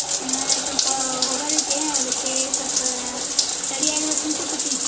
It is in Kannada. ಆ ಸ್ವಪ ಹೋಗೊದೈತಿ ಅದಕ್ಕೆ ಸ್ವಪ ready ಆಗ್ಬೇಕಂತ ಕೂತಿನ್.